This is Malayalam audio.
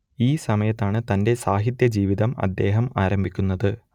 ഈ സമയത്താണ് തന്റെ സാഹിത്യ ജീവിതം അദ്ദേഹം ആരംഭിക്കുന്നത്